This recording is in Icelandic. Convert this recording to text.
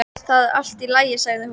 Það er allt í lagi sagði hún.